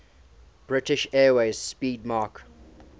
british airways 'speedmarque